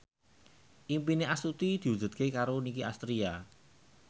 impine Astuti diwujudke karo Nicky Astria